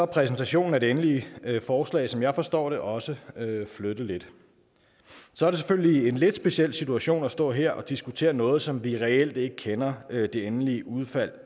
præsentationen af det endelige forslag som jeg forstår det også flyttet lidt så er det selvfølgelig en lidt speciel situation at stå her og diskutere noget som vi reelt ikke kender det endelige udfald